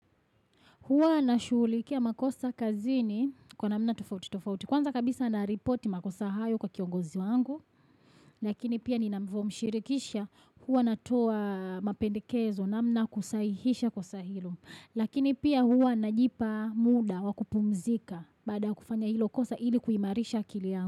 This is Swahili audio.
Hwa na shulikia makosa kazini kwa namna tufauti tufauti. Kwanza kabisa na ripoti makosa hayo kwa kiongozi wangu. Lakini pia ni ninavyomshirikisha huwa na toa mapendikezo na mna kusaihisha kwa sahilo. Lakini pia huwa na jipa muda wakupumzika baada kufanya hilo kosa hili kuimarisha kilia.